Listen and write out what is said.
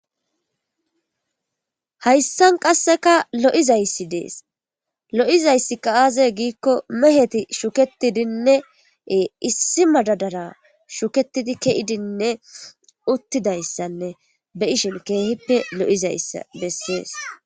Hayissan qasseka lo'izayssi dees lo'izayssi ka aaze giikko meheti shuketidinneee issi madadara shuketidi ke'idinne uttidayssanne be ishin keehippe lo'izayssa bessees